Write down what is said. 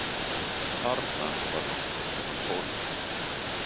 Þarna var nokkurs konar hólf.